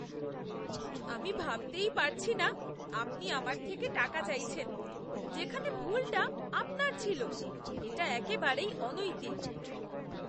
আমি ভাবতেই পারছি না আপনি আমার থেকে টাকা চাইছেন যেখানে ভুলটা আপনার ছিল। এটা একেবারেই অনৈতিক।